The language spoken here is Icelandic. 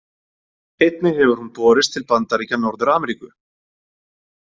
Einnig hefur hún borist til Bandaríkja Norður-Ameríku.